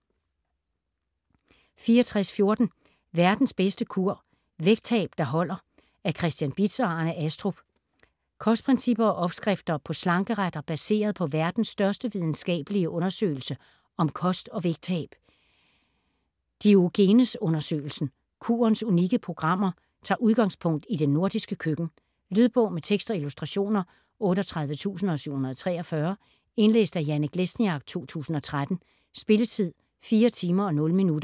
64.14 Verdens bedste kur: vægttab der holder Af Christian Bitz og Arne Astrup Kostprincipper og opskrifter på slankeretter, baseret på verdens største videnskabelige undersøgelse om kost og vægttab, Diogenes-undersøgelsen. Kurens unikke program tager udgangspunkt i det nordiske køkken. Lydbog med tekst og illustrationer 38743 Indlæst af Janek Lesniak, 2013. Spilletid: 4 timer, 0 minutter.